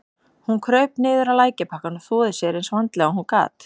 Hún kraup niður á lækjarbakkann og þvoði sér eins vandlega og hún gat.